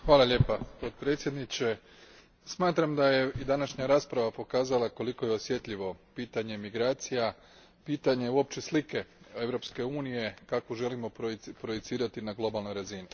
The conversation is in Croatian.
Gospodine predsjedniče, smatram da je i današnja rasprava pokazala koliko je osjetljivo pitanje migracija, pitanje uopće slike Europske unije kakvu želimo projecirati na globalnoj razini.